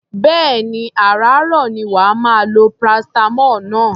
Bẹ́ẹ̀ni, àràáàrọ̀ ni wà á máa lo paracetamol náà.